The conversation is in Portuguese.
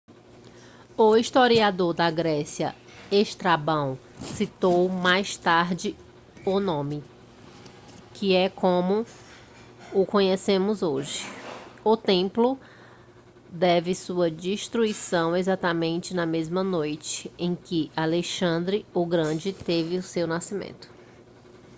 o historiador da grécia estrabão citou mais tarde o nome que é como o conhecemos hoje o templo teve sua destruição exatamente na mesma noite em que alexandre o grande teve seu nascimento